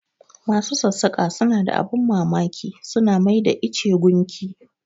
Masu sassaƙa suna da abin mamaki, su na mai da ice gunki.